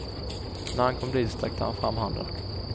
När han kom dit sträckte han fram handen.